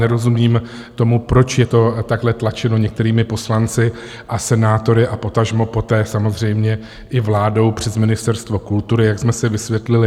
Nerozumím tomu, proč je to takhle tlačeno některými poslanci a senátory a potažmo poté samozřejmě i vládou přes Ministerstvo kultury, jak jsme si vysvětlili.